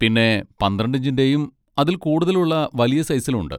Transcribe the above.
പിന്നെ പന്ത്രണ്ട് ഇഞ്ചിൻ്റെയും അതിൽ കൂടുതലും ഉള്ള വലിയ സൈസിലും ഉണ്ട്.